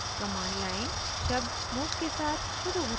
command line शब्द move के साथ शुरू होता है